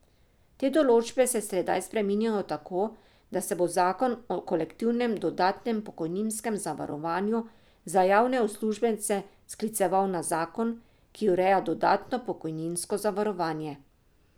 Te določbe se sedaj spreminjajo tako, da se bo zakon o kolektivnem dodatnem pokojninskem zavarovanju za javne uslužbence skliceval na zakon, ki ureja dodatno pokojninsko zavarovanje.